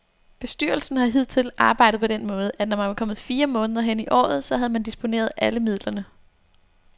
Bestyrelsen har hidtil arbejdet på den måde, at når man var kommet fire måneder hen i året, så havde man disponeret alle midlerne.